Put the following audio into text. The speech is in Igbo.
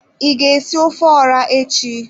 I ga esi ofe ora echi?